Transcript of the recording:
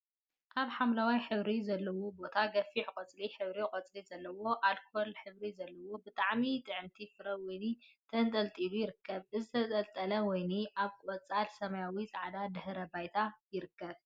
አብ ሓምለዋይ ሕብሪ ዘለዎ ቦታ ገፊሕ ቆፃል ሕብሪ ቆፅሊ ዘለዎ አልኮል ሕብሪ ዘለዎ ብጣዕሚ ጥዕምቲ ፍረ ወይኒ ተንጠልጢሉ ይርከብ፡፡ እዚ ዝተንጠልጠለ ወይኒ አብ ቆፃል፣ ሰማያዊን ፃዕዳን ድሕረ ባይታ ይርከብ፡፡